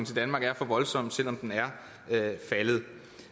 til danmark er for voldsom selv om den er faldet